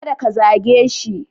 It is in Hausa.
Kada ka zage shi.